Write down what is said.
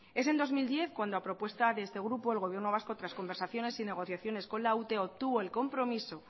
es el dos mil diez cuando a propuesta de este grupo el gobierno vasco tras conversaciones y negociaciones con la ute obtuvo el compromiso